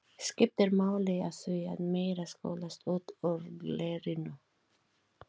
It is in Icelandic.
Gestur Þorgrímsson og Gerður voru í árganginum á undan þeim